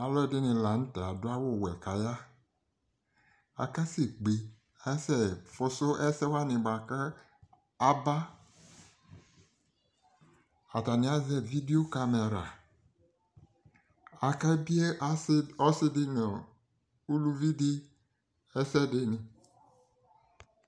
Aluɛde ne lantɛ ado awuwɛ ka ya Akasɛ kpe asɛ foso asɛ wane boako aba Atane azɛ vidio kamɛra, Ake bie asa, ɔse de no uluvi asɛ de ne